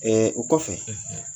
O kɔfɛ,